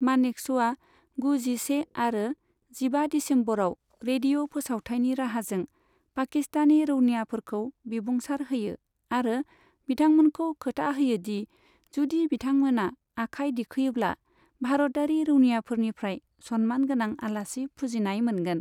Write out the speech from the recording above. मानेकश'आ गु, जिसे आरो जिबा दिसेम्बरयाव रेडिय' फोसावथायनि राहाजों पाकिस्तानी रौनियाफोरखौ बिबुंसार होयो आरो बिथांमोनखौ खोथा होयोदि जुदि बिथांमोना आखाय दिखोयोब्ला भारतयारि रौनोनियाफोरनिफ्राय सनमान गोनां आलासि फुजिनाय मोनगोन।